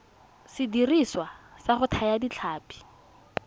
sediriswa sa go thaya ditlhapi